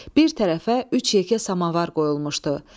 Bir tərəfə üç yekə samavar qoyulmuşdu.